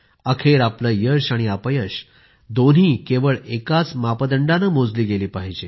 अखेर आपले यश आणि अपयश केवळ एकाच मापदंडाने मोजली गेली पाहिजे